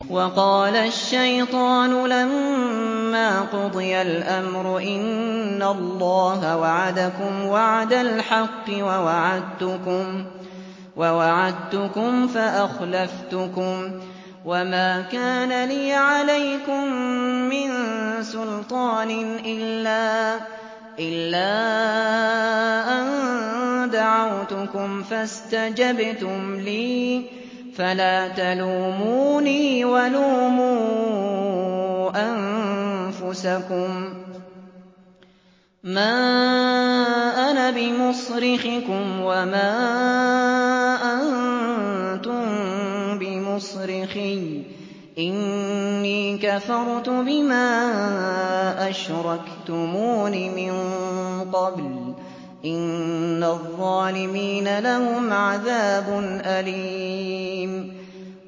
وَقَالَ الشَّيْطَانُ لَمَّا قُضِيَ الْأَمْرُ إِنَّ اللَّهَ وَعَدَكُمْ وَعْدَ الْحَقِّ وَوَعَدتُّكُمْ فَأَخْلَفْتُكُمْ ۖ وَمَا كَانَ لِيَ عَلَيْكُم مِّن سُلْطَانٍ إِلَّا أَن دَعَوْتُكُمْ فَاسْتَجَبْتُمْ لِي ۖ فَلَا تَلُومُونِي وَلُومُوا أَنفُسَكُم ۖ مَّا أَنَا بِمُصْرِخِكُمْ وَمَا أَنتُم بِمُصْرِخِيَّ ۖ إِنِّي كَفَرْتُ بِمَا أَشْرَكْتُمُونِ مِن قَبْلُ ۗ إِنَّ الظَّالِمِينَ لَهُمْ عَذَابٌ أَلِيمٌ